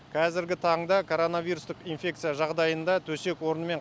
қазіргі таңда коронавирустық инфекция жағдайында төсек орынмен